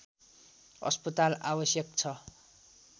अस्पताल आवश्यक छ